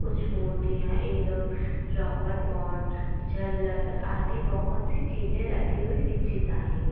कुछ मूर्तिया एवंम रोबर्ट पॉट जल्लर आदि बहुत ही चीजे रखी हुई दिक्चित आहे.